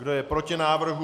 Kdo je proti návrhu?